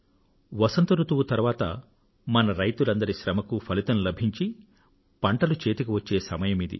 వసంత ఋతువు తరువాత మన రైతులందరి శ్రమకు ఫలితం లభించి పంటలు చేతికి వచ్చే సమయమిది